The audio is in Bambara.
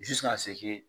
Su ka se